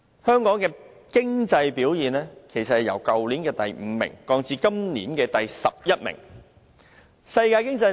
香港的經濟表現其實由去年排名第五降至今年的第十一名。